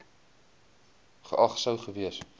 geag sou gewees